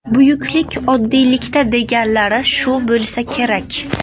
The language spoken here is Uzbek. Buyuklik oddiylikda deganlari shu bo‘lsa kerak.